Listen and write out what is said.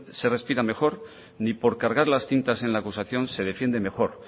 se respira mejor ni por cargar las tintas en la acusación se defiende mejor